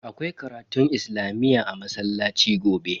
Akwai karatun islamiyyah a masallaci gobe.